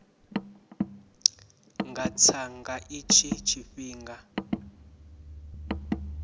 nga tsa nga itshi tshifhinga